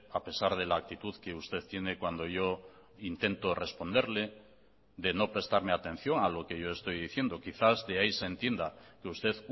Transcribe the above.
a pesar de la actitud que usted tiene cuando yo intento responderle de no prestarme atención a lo que yo estoy diciendo quizás de ahí se entienda que usted